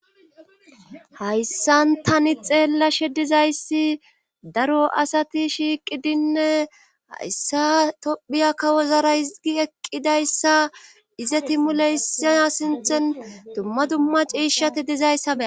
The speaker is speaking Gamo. hayssan tani xeellashe dizayssi daro asati shiiqidinne hayssa tophiya kawozara higi eqqidayssa ize timuleysa sinthen dumma dumma ciishati dizayssabe